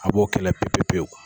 An b'o kɛlɛ pepe pewu.